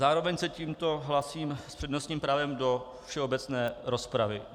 Zároveň se tímto hlásím s přednostním právem do všeobecné rozpravy.